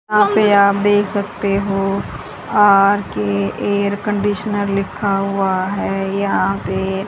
यहां पे आप देख सकते हो आर_के एयरकंडिशनर लिखा हुआ हैं यहां पे--